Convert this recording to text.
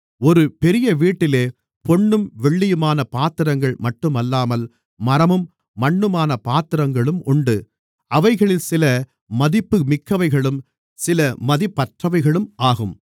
ஒரு பெரிய வீட்டிலே பொன்னும் வெள்ளியுமான பாத்திரங்கள் மட்டுமல்லாமல் மரமும் மண்ணுமான பாத்திரங்களும் உண்டு அவைகளில் சில மதிப்புமிக்கவைகளும் சில மதிப்பற்றவைகளும் ஆகும்